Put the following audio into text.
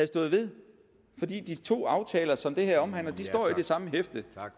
stået ved for de to aftaler som det her omhandler står i det samme hæfte